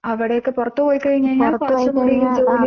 അവിടെയൊക്കെ പുറത്ത് പോയി കഴിഞ്ഞാൽ കുറച്ച് കൂടി ജോലിയും